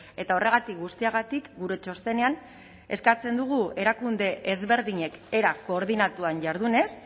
eta horregatik guztiagatik gure txostenean eskatzen dugu erakunde ezberdinek era koordinatuan jardunez